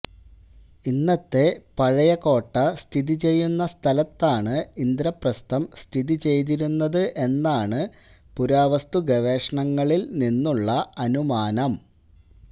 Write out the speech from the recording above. ഇന്നത്തെ പഴയ കോട്ട സ്ഥിതി ചെയ്യുന്ന സ്ഥലത്താണ് ഇന്ദ്രപ്രസ്ഥം സ്ഥിതി ചെയ്തിരുന്നത് എന്നാണ് പുരാവസ്തുഗവേഷണങ്ങളിൽ നിന്നുള്ള അനുമാനം